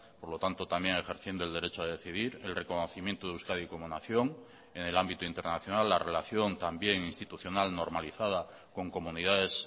por lo tanto también ejerciendo el derecho a decidir el reconocimiento de euskadi como nación en el ámbito internacional la relación también institucional normalizada con comunidades